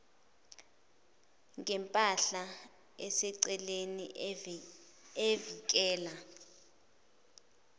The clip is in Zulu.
ngempahla eseceleni evikela